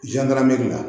la